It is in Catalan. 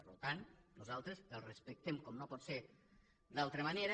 per tant nosaltres el respectem com no pot ser d’altra manera